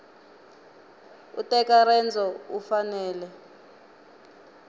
u teka rendzo u fanele